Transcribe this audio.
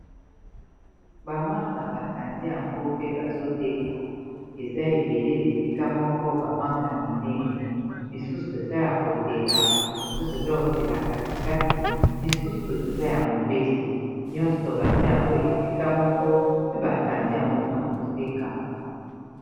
Bamanga batandi yango mpe bazoteka eza ebele esika moko bamanga ya minene misusu eza ya kotela misusu eza ya kotela katikati misusu eza ya mobeso nyonso batia yango esika moko pe batandi yango mpona koteka.